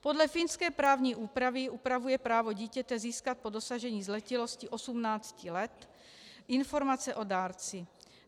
Podle finské právní úpravy upravuje právo dítěte získat po dosažení zletilosti 18 let informace o dárci.